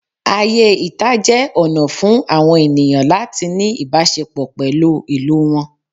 Ayé ìta jẹ́ ọ̀nà fún àwọn ènìyàn láti ní ìbáṣepọ̀ pẹ̀lú ìlú wọn